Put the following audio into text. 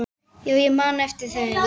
Já, ég man eftir þeim.